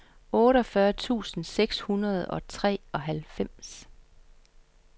otteogfyrre tusind seks hundrede og treoghalvfems